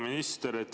Hea minister!